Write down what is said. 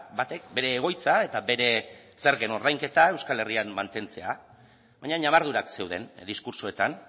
batek bere egoitza eta bere zergen ordainketa euskal herrian mantentzea baina ñabardurak zeuden diskurtsoetan